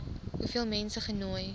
hoeveel mense genooi